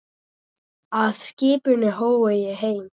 Af skipinu horfi ég heim.